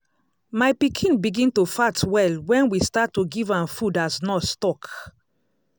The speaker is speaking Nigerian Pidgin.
my pikin begin to fat well when we start to give am food as nurse talk.